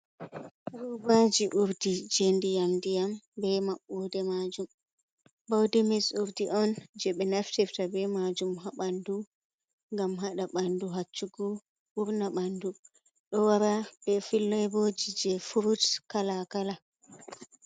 Hubaji urdi jendi yam diyam, be mabbude majum baudi mis urdi on je be naftifta be majum habandu ,gam hada bandu haccugo burna bandu do wara be fileboji je frut kalakala.